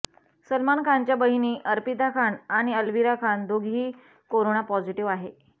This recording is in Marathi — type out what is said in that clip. सलमान खानच्या बहिणी अर्पिता खान आणि अलविरा खान दोघीही करोना पॉझिटिव्ह आहे